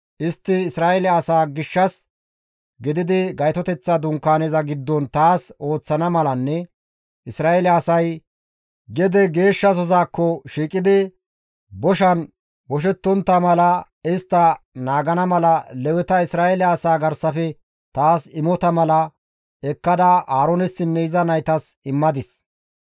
Istti Isra7eele asaa gishshas gididi Gaytoteththa Dunkaaneza giddon taas ooththana malanne Isra7eele asay gede geeshshasozakko shiiqidi boshan boshettontta mala istta naagana mala Leweta Isra7eele asaa garsafe taas imota mala ekkada Aaroonessinne iza naytas immadis.»